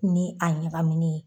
Ni a ɲagaminnen